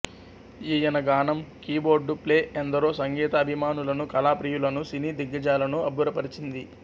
ఈయన గానం keyboard play ఎందరో సంగీత అభిమానులను కళా ప్రియులను సినీ దిగ్గజాలను అబ్బురపరచింది